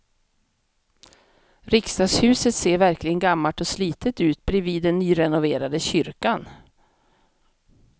Riksdagshuset ser verkligen gammalt och slitet ut bredvid den nyrenoverade kyrkan.